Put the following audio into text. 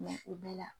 Mɛ o bɛɛ la